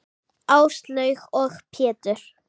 Áslaug og Pétur.